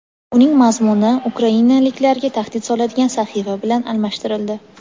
uning mazmuni ukrainaliklarga tahdid soladigan sahifa bilan almashtirildi.